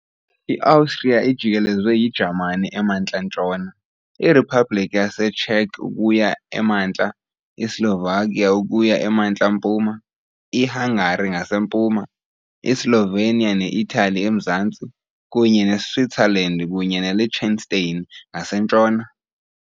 IOstriya ijikelezwe yiJamani emantla-ntshona, iRiphabliki yaseCzech ukuya emantla, iSlovakia ukuya emantla-mpuma, iHungary ngasempuma, iSlovenia ne- Itali emazantsi, kunye neSwitzerland kunye neLiechtenstein ngasentshona.